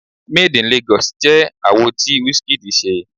Made In Lagos jẹ́ àwo tí Wizkid ṣe.